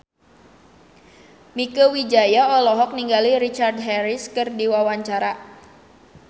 Mieke Wijaya olohok ningali Richard Harris keur diwawancara